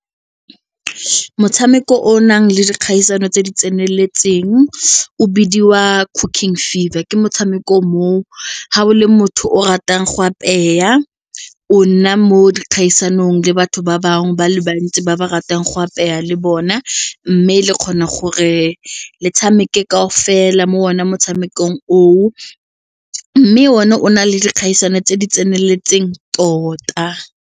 Motshameko o o nang le dikgaisano tse di tseneletseng o bidiwa Cooking Fever ke motshameko moo ga o le motho o ratang go apeya o nna mo dikgaisanong le batho ba bangwe ba le bantsi ba ba ratang go apeya le bona mme le kgona gore le tshameke kaofela mo one motshamekong oo mme one o na le dikgaisano tse di tseneletseng tota.